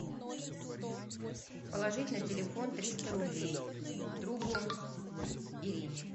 положить на телефон триста рублей другу ирине